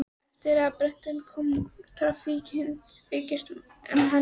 Eftir að Bretinn kom hafði traffíkin aukist um allan helming.